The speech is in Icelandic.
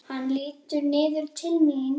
Hann lítur niður til mín.